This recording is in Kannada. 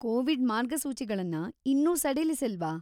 ಕೋವಿಡ್‌ ಮಾರ್ಗಸೂಚಿಗಳನ್ನ ಇನ್ನೂ ಸಡಿಲಿಸಿಲ್ವಾ?